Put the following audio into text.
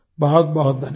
बहुत बहुत धन्यवाद